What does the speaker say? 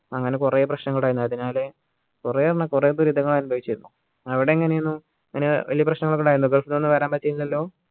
അങ്ങനെ കുറെ പ്രശ്നങ്ങൾ ഉണ്ടായിരുന്നു അതിനാൽ കുറേയെണ്ണം കുറെ പേര് ഇതേ മാതിരി അനുഭവിച്ചിരുന്നു അവിടെ എങ്ങനെയായിരുന്നു അങ്ങനെ വലിയ പ്രശ്നങ്ങളൊക്കെ ഉണ്ടായിരുന്നു gulf ന്ന് ഒന്നും വരാൻ പറ്റിയിരുന്നില്ലല്ലോ